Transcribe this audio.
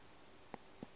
e ke ga se ya